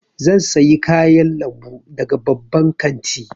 Zan sayi kayan lambu daga babban kanti.